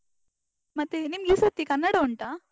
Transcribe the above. ಮತ್ತೆ, ನಿಮ್ಗೆ ಈ ಸತಿ ಕನ್ನಡ ಉಂಟಾ?